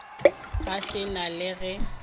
ga se na le ge